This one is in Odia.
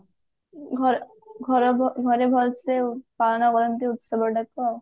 ଘ ଘ ଘରେ ଭଲସେ ପାଳନ କରନ୍ତି ଉତ୍ସବ ଟାକୁ ଆଉ